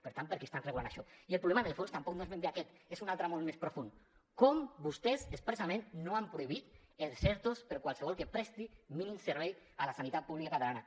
per tant per què estan regulant això i el problema en el fons tampoc no és ben bé aquest és un altre molt més profund com vostès expressament no han prohibit els ertos per a qualsevol que presti mínim servei a la sanitat pública catalana